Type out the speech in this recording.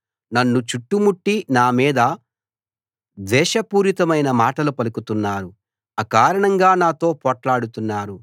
నన్ను చుట్టుముట్టి నా మీద ద్వేషపూరితమైన మాటలు పలుకుతున్నారు అకారణంగా నాతో పోట్లాడుతున్నారు